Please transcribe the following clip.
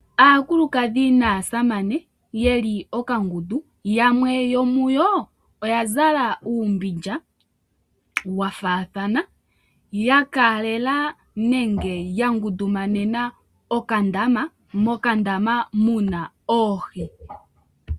Aakukadhi naasamane yeli okangundu yamwe yo muyo oya zala uumbindja wa faathana ya kaalela nenge ya ngundumanena okandama, mokandama muna oohi.